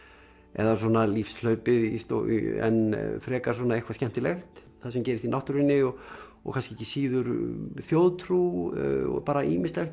eða svona lífshlaupið en frekar svona eitthvað skemmtilegt það sem gerist í náttúrunni og og kannski ekki síður þjóðtrú og bara ýmislegt